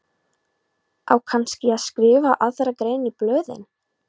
Á kannski að skrifa aðra grein í blöðin?